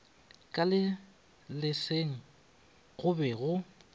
ka leselageng go be go